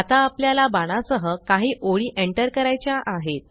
आता आपल्याला बाणा सह काही ओळी एंटर करायच्या आहेत